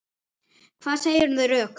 Hvað segirðu um þau rök?